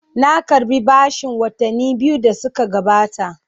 Na karɓi bashin watanni biyu da suka gabata.